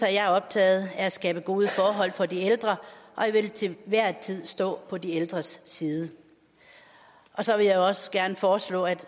er jeg optaget af at skabe gode forhold for de ældre og jeg vil til hver en tid stå på de ældres side så vil jeg også gerne foreslå at